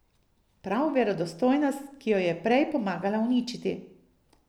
Prav verodostojnost, ki jo je prej pomagala uničiti.